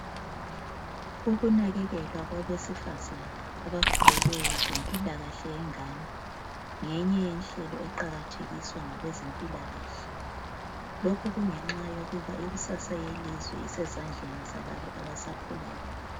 Ukunakekelwa kwabesifazana abakhulelweyo lempilakahle yengane. Ngeyinye yenhlelo eqakathekiswa ngabezempilakahle. lokhu kungenxayokuba ikusasa yelizwe isezandleni zalabo abasakhulayo.